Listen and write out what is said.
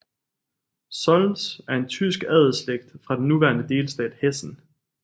Solms er tysk adelsslægt fra den nuværende delstat Hessen